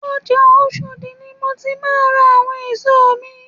Ọjà Oshodi ni èmi ti máà ń ra àwọn èso mi